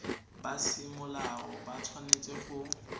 ba semolao ba tshwanetse go